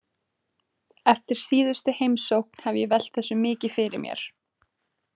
Eftir síðustu heimsókn hef ég velt þessu mikið fyrir mér.